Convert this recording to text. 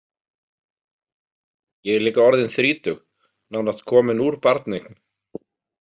Ég er líka orðin þrítug, nánast komin úr barneign.